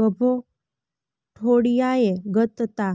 ગભો ઠોળિયાએ ગત તા